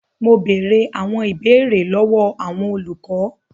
Mo bèrè àwọn ìbéèrè lọwọ àwọn olùkọ.